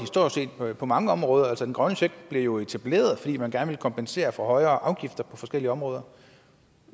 på mange områder den grønne check blev jo etableret fordi man gerne ville kompensere for højere afgifter på forskellige områder